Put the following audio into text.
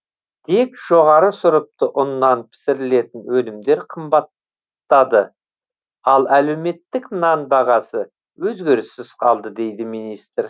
тек жоғары сұрыпты ұннан пісірілетін өнімдер қымбаттады ал әлеуметтік нан бағасы өзгеріссіз қалды дейді министр